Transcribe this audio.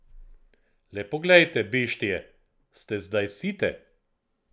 Le poglejte, beštije, ste zdaj site?